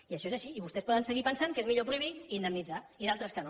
i això és així i vostès poden seguir pensant que és millor prohibir i indemnitzar i d’altres que no